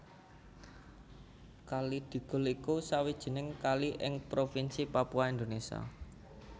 Kali Digul iku sawijining kali ing Provinsi Papua Indonesia